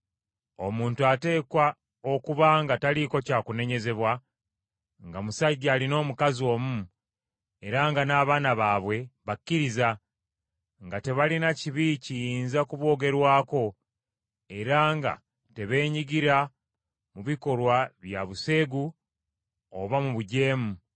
Omuntu ateekwa okuba nga taliiko kya kunenyezebwa, nga musajja alina omukazi omu, era nga n’abaana baabwe bakkiriza, nga tebalina kibi kiyinza kuboogerwako era nga tebeenyigira mu bikolwa bya buseegu oba mu bujeemu.